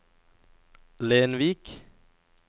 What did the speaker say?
Lenvik